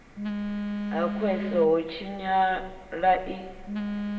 ha khwese ho tshinyala i